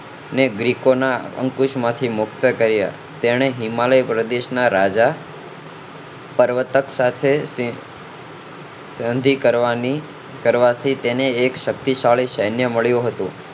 ને બ્રીકો ના અંકુશો માંથી મુક્ત કર્યા તેને હિમાલય પ્રદેશ ના રાજા પર્વતક સાથે સંધી કરવાની કરવાથી તેને એક શક્તિશાળી સૈન્ય મળ્યો હતો